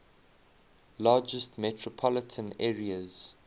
largest metropolitan areas